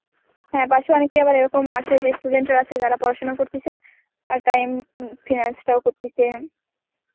হ্যাঁ পাশে অনেকেই আবার এরকম আছে যে student রা আছে যারা পড়াশোনা করতেছে আর টাইম finance টাও করতেছে